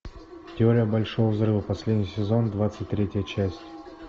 теория большого взрыва последний сезон двадцать третья часть